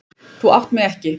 Þú átt mig ekki.